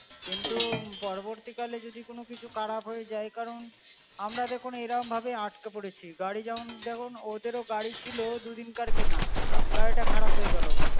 কিন্তু পরবর্তী কালে যদি কোনো কিছু খারাপ হয়ে যায়, কারণ আমরা দেখুন এরমভাবে আটকে পড়েছি। গাড়ি যেমন ওদেরও গাড়ি ছিল দুদিন কার কেনা। গাড়িটা খারাপ হয়ে গেল।